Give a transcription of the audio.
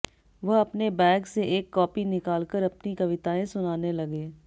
वह अपने बैग से एक कापी निकाल कर अपनी कविताएं सुनाने लगे